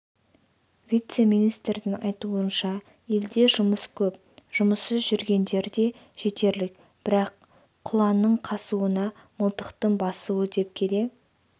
вице-министрдің айтуынша елде жұмыс көп жұмыссыз жүргендер де жетерлік бірақ құланның қасуына мылтықтың басуы дөп келе